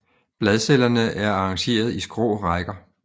Bladcellerne er arrangeret i skrå rækker